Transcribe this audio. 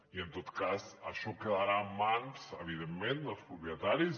i en tot cas això quedarà en mans evidentment dels propietaris